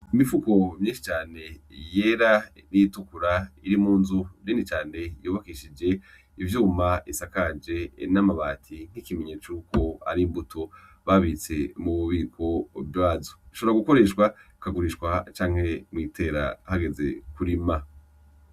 Imifuko myinshi cane yera n'iyitukura iri mu nzu nini cane y'ubakishije ivyuma bisakaje n'amabati nk'ikimenyetso cuko ari imbuto babitse mu bubiko bwazo, ishobora gukoreshwa ; ikagurishwa canke mw'itera hageze kurima.